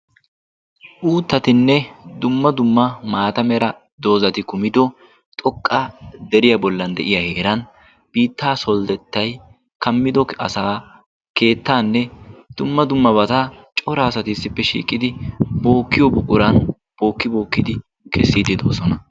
uuttatinne dumma dumma maata mera doozati kumido xoqqa deriyaa bollan de'iya heeran biittaa soldettay kammido asaa keettaanne dumma dumma bata cora asati issippe shiiqidi pookkiyo buquran bookki bookkidi kessiiddi doosona